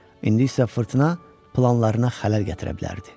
İndi isə fırtına planlarına xələl gətirə bilərdi.